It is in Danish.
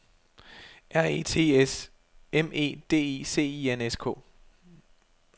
R E T S M E D I C I N S K